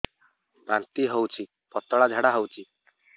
ବାନ୍ତି ହଉଚି ପତଳା ଝାଡା ହଉଚି